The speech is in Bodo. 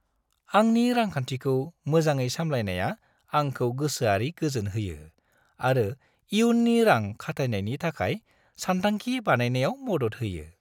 आंनि रांखान्थिखौ मोजाङै सामलायनाया आंखौ गोसोआरि गोजोन होयो आरो इयुननि रां-खाथायनायनि थाखाय सान्थांखि बानायनायाव मदद होयो।